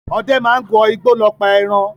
Ọdẹ máa ń wọ igbó lọ pa ẹran.